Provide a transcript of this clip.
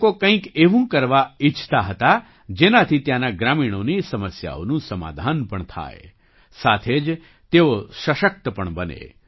તે લોકો કંઈક એવું કરવા ઈચ્છતા હતા જેનાથી ત્યાંના ગ્રામીણોની સમસ્યાઓનું સમાધાન પણ થાય સાથે જ તેઓ સશક્ત પણ બને